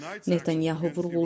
Netanyahu vurğulayıb.